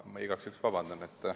Ma igaks juhuks palun vabandust.